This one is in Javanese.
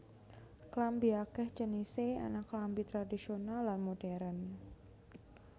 Klambi akèh jenisé ana klambi tradhisional lan modhèrn